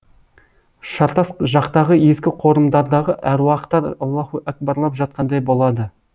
шартас жақтағы ескі қорымдардағы әруақтар аллаһу әкбарлап жатқандай болады